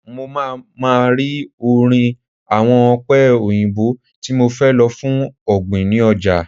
Mo máa ma rí orí àwọn ọ̀pẹ òyìnbó tí mo fẹ́ lò fún ọ̀gbìn ni ọjà.